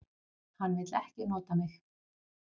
Hann vill ekki nota mig.